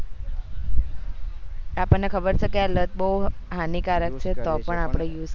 આપણે ખબર છે કે આ લત બહુ હાનીકાર છે તો આપણે use કરીએ